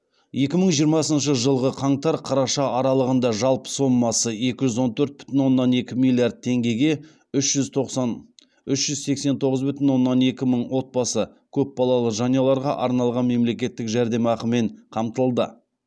екі мың жиырмасыншы жылғы қаңтар қараша аралығында жалпы сомасы екі жүз он төрт бүтін оннан екі миллиард теңгеге үш жүз сексен тоғыз бүтін оннан екі мың отбасы көпбалалы жанұяларға арналған мемлекеттік жәрдемақымен қамтылды